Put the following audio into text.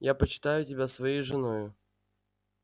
я почитаю тебя своею женою